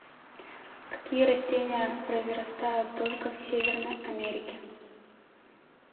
какие растения произрастают только в северной америке